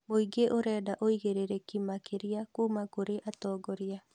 Muingĩ ũrenda ũigĩrĩrĩki makĩria kuma kũrĩ atongoria